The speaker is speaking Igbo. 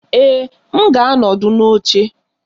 Ee, m ga-anọdụ n'oche